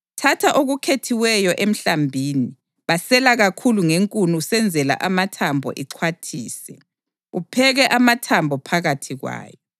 thatha okukhethiweyo emhlambini. Basela kakhulu ngenkuni usenzela amathambo; ixhwathise upheke amathambo phakathi kwayo.